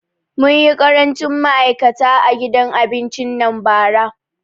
Mun yi ƙarancin ma'aikata a gidan abincin nan bara